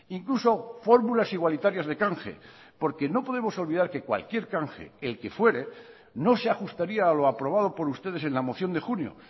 incluso fórmulas igualitarias de canje porque no podemos olvidar que cualquier canje el que fuere no se ajustaría a lo aprobado por ustedes en la moción de junio